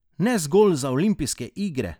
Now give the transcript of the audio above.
Ne zgolj za olimpijske igre!